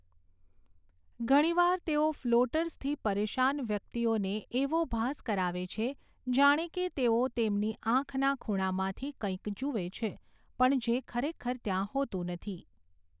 ઘણીવાર તેઓ ફ્લોટર્સથી પરેશાન વ્યક્તિઓને એવો ભાસ કરાવે છે જાણે કે તેઓ તેમની આંખના ખૂણામાંથી કંઈક જુએ છે પણ જે ખરેખર ત્યાં હોતું નથી.